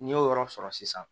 N'i y'o yɔrɔ sɔrɔ sisan